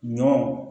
Ɲɔ